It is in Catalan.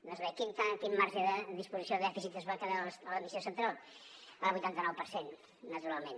doncs bé quin marge de disposició de dèficit es va quedar a l’administració central el vuitanta nou per cent naturalment